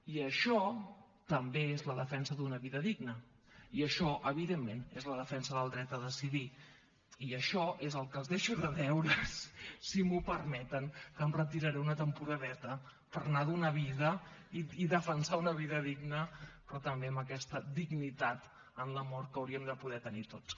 i això també és la defensa d’una vida digna i això evidentment és la defensa del dret a decidir i això és el que els deixo de deures si m’ho permeten que em retiraré una temporadeta per anar a donar vida i defensar una vida digna però també amb aquesta dignitat en la mort que hauríem de poder tenir tots